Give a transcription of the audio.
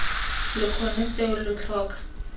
lo kgone seo lo tlhoka